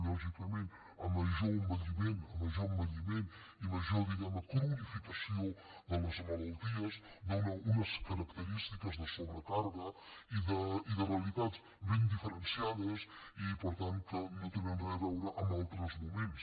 lògicament a major envelliment a major envelliment i major diguem ne cronificació de les malalties es donen unes característiques de sobrecàrrega i de realitats ben diferenciades i per tant que no tenen res a veure amb altres moments